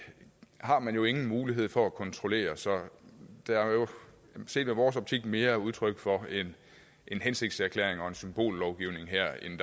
har man jo ingen mulighed for at kontrollere så set i vores optik mere udtryk for en hensigtserklæring og en symbollovgivning her end